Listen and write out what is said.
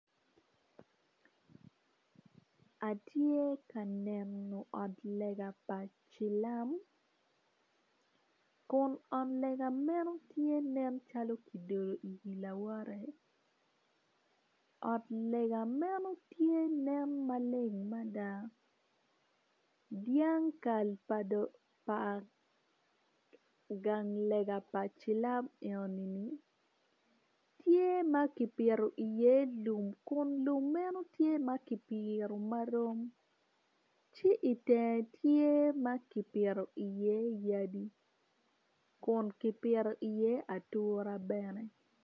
Atye ka neno ot lega pa cilam kun tye ka nen calo ki dyeyo i wi lawote dyang kal pa gang lelga man tye ki pito iye lum ci i tyenge tye ki pito i ye ature ki yadi.